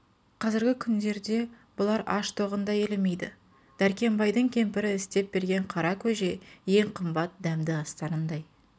қазіргі күндерде бұлар аш-тоғын да елемейді дәркембайдың кемпірі істеп берген қара көже ең қымбат дәмді астарындай